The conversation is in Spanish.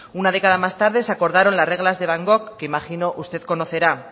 una década más tarde se acordaron las reglas de van gogh que imagino usted conocerá